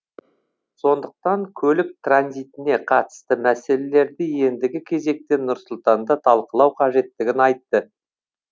сондықтан көлік транзитіне қатысты мәселелерді ендігі кезекте нұр сұлтанда талқылау қажеттігін айтты